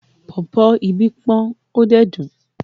Pọ̀pọ́ ibí pọ́n ó dẹ̀ dùn.